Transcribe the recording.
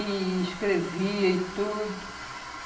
e escrevia e tudo.